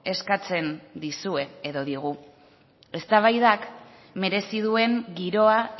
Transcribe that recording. eskatzen dizue edo digu eztabaidak merezi duen giroa